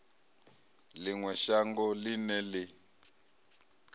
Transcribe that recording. ḽi ṅwe shango ḽine ḽi